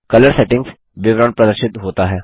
colour settings विवरण प्रदर्शित होता है